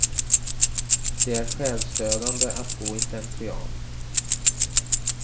Det är själsdödande att gå i slentrian.